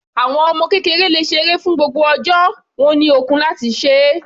Àwọn ọmọ kékeré le ṣe eré fún gbogbo ọjọ́, wọ́n ní ọkun láti se é.